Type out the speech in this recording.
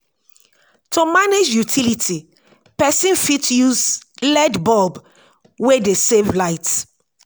to manage utility person fit use led bulb wey dey save light